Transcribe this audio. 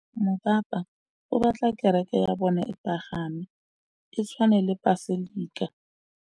Mopapa o batla kereke ya bone e pagame, e tshwane le paselika.